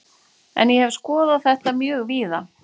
En ég hef skoðað þetta mjög víða.